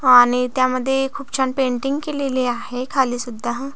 आणि त्यामध्ये खूप छान पेंटिंग केलेली आहे खाली सुद्धा--